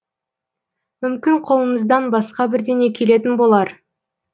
мүмкін қолыңыздан басқа бірдеңе келетін болар